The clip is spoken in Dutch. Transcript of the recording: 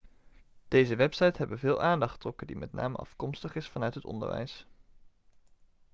deze websites hebben veel aandacht getrokken die met name afkomstig is vanuit het onderwijs